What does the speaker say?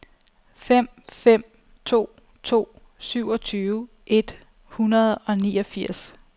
fem fem to to syvogtyve et hundrede og niogfirs